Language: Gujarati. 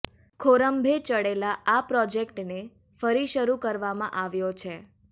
ખોરંભે ચડેલા આ પ્રોજેક્ટને ફરી શરૂ કરવામાં આવ્યો છે